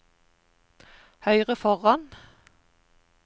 høyre foran